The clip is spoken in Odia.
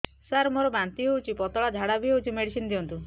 ସାର ମୋର ବାନ୍ତି ହଉଚି ପତଲା ଝାଡା ବି ହଉଚି ମେଡିସିନ ଦିଅନ୍ତୁ